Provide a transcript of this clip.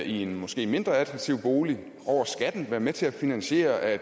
en måske mindre attraktiv bolig over skatten være med til at finansiere at